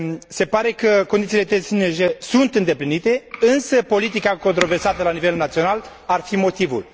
Se pare că condițiile tehnice sunt îndeplinite, însă politica controversată la nivel național ar fi motivul.